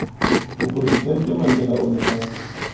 mopresidente mandela o ne a